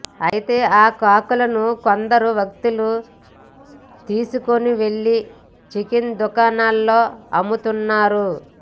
అయితే ఆ కాకులను కొందరు వ్యక్తులు తీసుకొని వెళ్లి చికెన్ దుకాణాలలో అమ్ముతున్నారు